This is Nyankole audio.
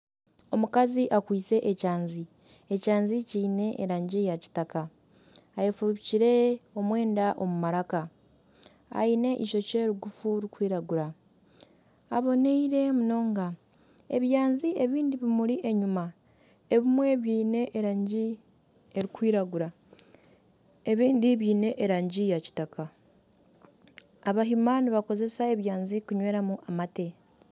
Omukazi akwitse ekyanzi. Ekyanzi kiine erangi ya kitaka. Ayefubikire omwenda omu maraka. Aine ishokye rigufu ririkwiragura. Aboneire munonga. Ebyanzi ebindi bimuri enyima ebimwe biine erangi erikwiragura ebindi biine erangi ya kitaka. Abahima nibakozesa ebyanzi kunywera mu amate.